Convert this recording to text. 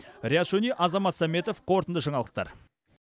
риат шони азамат сәметов қорытынды жаңалықтар